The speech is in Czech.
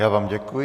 Já vám děkuji.